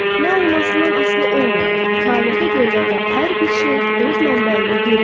Nə olmasından asılı olmayaraq, kainata göndərilən hər bir şey öz mənbəyinə geri dönür.